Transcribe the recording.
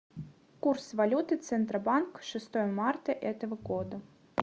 курс валюты центробанк шестого марта этого года